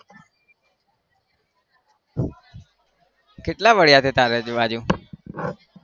કેટલા પડ્યા છે તારી આજુ બાજુ માં?